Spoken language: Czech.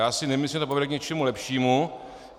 Já si nemyslím, že to povede k něčemu lepšímu.